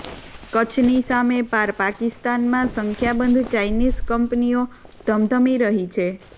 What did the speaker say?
કચ્છની સામે પાર પાકિસ્તાનમાં સંખ્યાબંધ ચાઇનીસ કંપનીઓધમધમી રહી છે